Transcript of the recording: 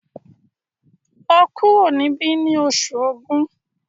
lọ kuro nibi ní Oṣù Ògún!